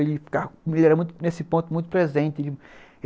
Ele era nesse ponto muito presente.